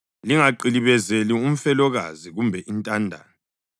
Lingaqilibezeli umfelokazi kumbe intandane,